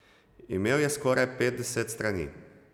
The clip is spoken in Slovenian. Imel je skoraj petdeset strani.